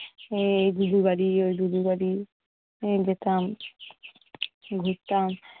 এই দুদুর বাড়ি ওই দুদুর বাড়ি যেতাম ঘুরতাম